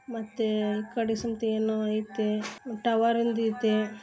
ಮತ್ತೆ ಏನೋ ಐತೆ ಮತ್ ಟವರ್ ಹಿಂದ್ ಐತೆ.